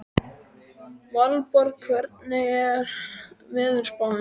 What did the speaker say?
Valborg, hvernig er veðurspáin?